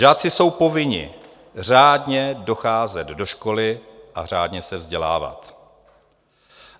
Žáci jsou povinni řádně docházet do školy a řádně se vzdělávat."